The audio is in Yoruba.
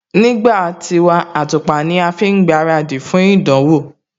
Nígbà tiwa, àtùpà ní a má ń fi gbaradì fún ìdánwò